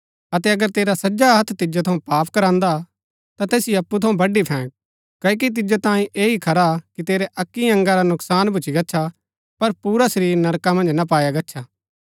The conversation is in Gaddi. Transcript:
अतै अगर तेरा सज्जा हत्थ तिजो थऊँ पाप करांदा ता तैसिओ अप्पु थऊँ बडी फैंक क्ओकि तिजो तांयें ऐह ही खरा कि तेरै अक्की अंगा रा नुकसान भूच्ची गच्छा पर पुरा शरीर नरका मन्ज ना पाया गच्छा